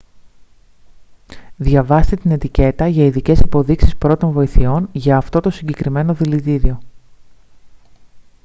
διαβάστε την ετικέτα για ειδικές υποδείξεις πρώτων βοηθειών για αυτό το συγκεκριμένο δηλητήριο